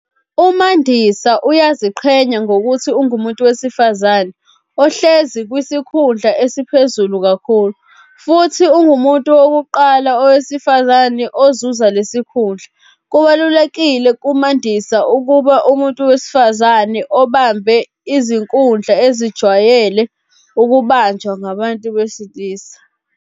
UMandisa uyaziqhenya ngokuthi ungumuntu wesifazane ohlezi kwisikhundla esiphezulu kakhulu futhi ungumuntu wokuqala owesifazane ozuza lesikhundla. Kubalulekile kuMandisa ukuba umuntu wesifazane obambe izikhundla ezijwayele ukubanjwa ngabantu besilisa.